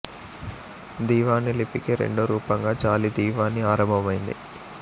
దీవానీ లిపి కి రెండో రూపంగా జాలీ దీవానీ ఆరంభమైనది